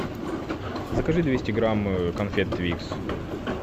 закажи двести грамм конфет твикс